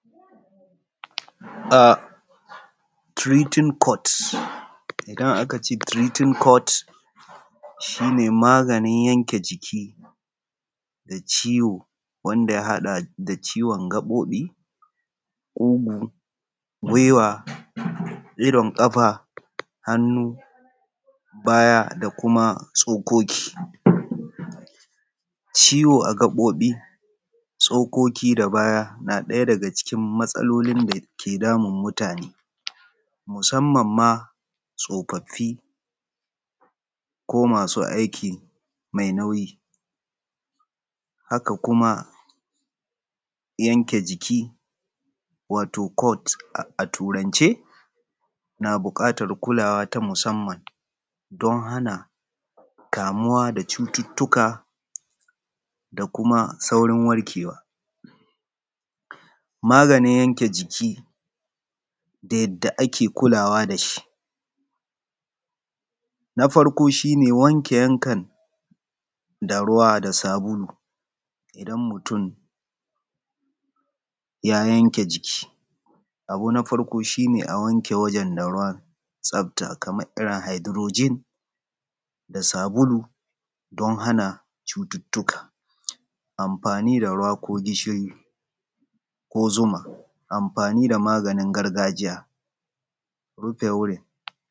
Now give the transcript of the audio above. Treating code, isana ak ce treating code maganin yanke jiki da ciwo wanda ya haɗa da ciwon jiki kugu, idon kafa hannu baya da kuma tsokoki. Ciwo a gabobi tsokokin da baya na ɗaya daga matsalolin da yake damun mutane musamman tsofaffi lo masu aiki mai nauyi. Haka kuma yanke jiki wato code a turance na buƙatar kula ta musamman don hana kamuwa da cututtuka da kuma ɓarkewa. Maganin yanke jiki da yadda ake kulawa da shi. Na farko shi ne wanke yankan da ruwa da sabulu idan mutum ya yanke jiki. Abu na farko shi ne a yanke ruwan tsafta kamaririn Hydrogen da sauran dukka. Amfani da ruwa ko gishiri ko zuma. Amfani da magani gargajiya rufe wurin.